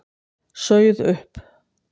Sauð upp.